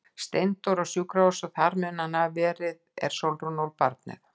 Steindór á sjúkrahús og þar mun hann hafa verið er Sólrún ól barnið.